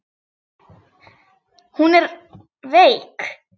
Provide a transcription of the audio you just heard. Hún er veik.